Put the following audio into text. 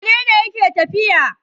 Wane ne yake tafiya?